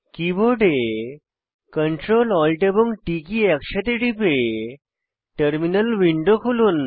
কীবোর্ডে Ctrl Alt এবং T key একসাথে টিপে টার্মিনাল উইন্ডো খুলুন